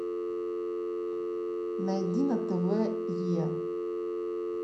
найди на тв е